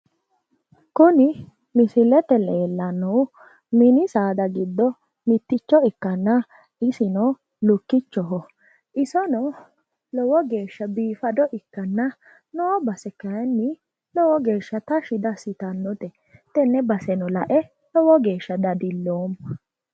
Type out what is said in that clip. Kuni misilete aana leellannohu mini saada giddo mitticho ikkanna isino lukkichoho isono isino lukkichoho isono lowo geeshsha biifado ikkanna noo base kayiinni lowo geeshsha tashshi diassirannote tenne baseno lae lowo geeshsha dadilloomma.